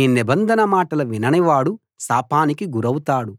ఈ నిబంధన మాటలు వినని వాడు శాపానికి గురౌతాడు